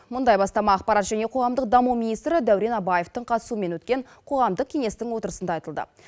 мұндай бастама ақпарат және қоғамдық даму министрі дәурен абаевтың қатысуымен өткен қоғамдық кеңестің отырысында айтылды